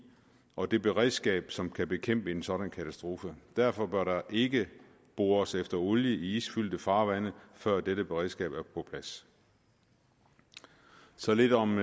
og det beredskab som kan bekæmpe en sådan katastrofe derfor bør der ikke bores efter olie i isfyldte farvande før dette beredskab er på plads så lidt om